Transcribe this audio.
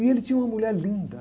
E ele tinha uma mulher linda.